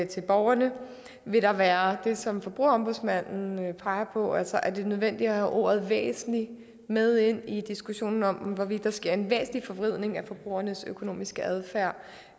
til borgerne vil der være det som forbrugerombudsmanden peger på altså om det er nødvendigt at have ordet væsentlig med ind i diskussionen om hvorvidt der sker en væsentlig forvridning af forbrugernes økonomiske adfærd